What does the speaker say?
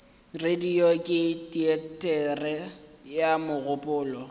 radio ke teatere ya mogopolo